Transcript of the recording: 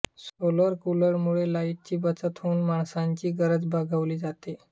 solar कूलरमुळे लाइटची बचत होऊन माणसांची गरज भागवली जाते